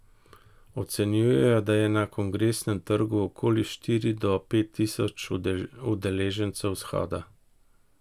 Ocenjujejo, da je na Kongresnem trgu okoli štiri do pet tisoč udeležencev shoda.